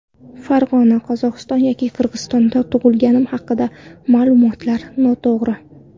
Farg‘ona, Qozog‘iston yoki Qirg‘izistonda tug‘ilganim haqidagi ma’lumotlar noto‘g‘ri.